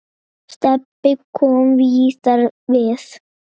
Stebbi kom víðar við.